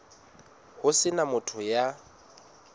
ho se na motho ya